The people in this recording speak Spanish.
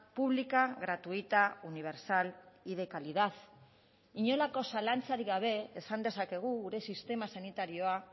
pública gratuita universal y de calidad inolako zalantzarik gabe esan dezakegu gure sistema sanitarioa